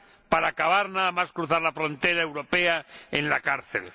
para acabar nada más cruzar la frontera europea en la cárcel.